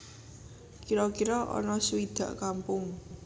Kira kira ana suwidak kampung